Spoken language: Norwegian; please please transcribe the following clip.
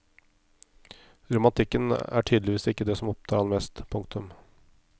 Romantikken er tydeligvis ikke det som opptar ham mest. punktum